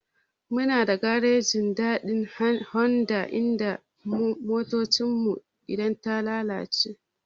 Muna da garejin Dadi Honda inda muke motar mu a gyara idan ta lalace.